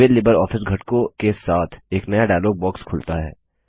विविध LibreOffice घटकों के साथ एक नया डायलॉग बॉक्स खुलता है